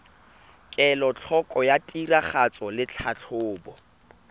kelotlhoko ya tiragatso le tlhatlhobo